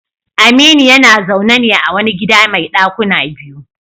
Aminu yana zaune ne a wani gida mai dakuna biyu.